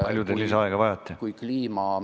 Kui palju te lisaaega vajate?